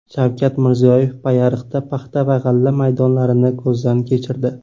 Shavkat Mirziyoyev Payariqda paxta va g‘alla maydonlarini ko‘zdan kechirdi.